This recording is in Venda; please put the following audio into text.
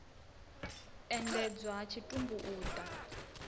endedzwa ha tshitumbu u ḓa